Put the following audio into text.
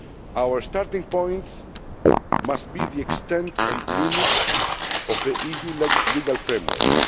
Our starting point must be the extent and limits of the EU legal framework.